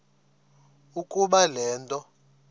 ukuba le nto